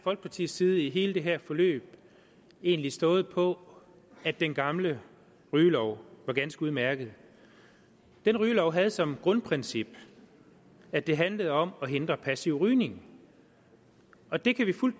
folkepartis side i hele det her forløb egentlig stået på at den gamle rygelov var ganske udmærket den rygelov havde som grundprincip at det handlede om at hindre passiv rygning og det kan vi fuldt